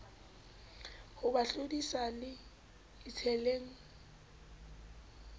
ho ba thodisa se itsheleng